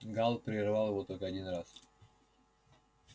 гаал прервал его только один раз